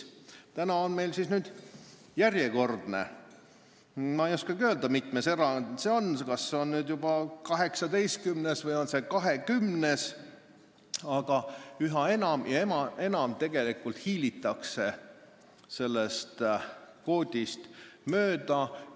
Täna on meil kõne all järjekordne erand, ma ei oskagi öelda, mitmes see on, kas see on 18. või juba 20., aga üha enam ja enam hiilitakse sellest kvoodist mööda.